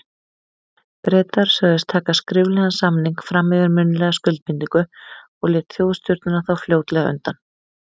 Bretar sögðust taka skriflegan samning fram yfir munnlega skuldbindingu, og lét Þjóðstjórnin þá fljótlega undan.